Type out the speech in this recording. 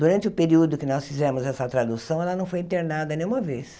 Durante o período que nós fizemos essa tradução, ela não foi internada nenhuma vez.